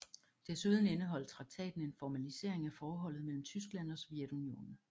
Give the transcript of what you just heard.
Desuden indeholdt traktaten en formalisering af forholdet mellem Tyskland og Sovjetunionen